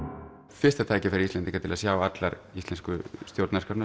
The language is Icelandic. fyrsta tækifæri Íslendinga til að sjá allar íslensku stjórnarskrárnar